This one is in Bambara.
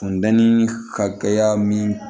Funtɛni ka kɛ ya min